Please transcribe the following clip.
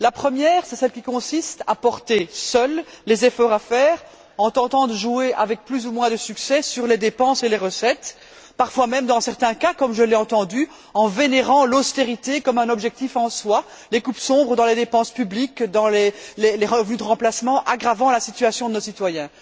La première, c'est celle qui consiste à porter seuls les efforts à faire en tentant de jouer avec plus ou moins de succès sur les dépenses et les recettes, parfois même, dans certains cas comme je l'ai entendu en vénérant l'austérité comme un objectif en soi et les coupes sombres dans les dépenses publiques et dans les revenus de remplacement, aggravant ainsi la situation de nos citoyens.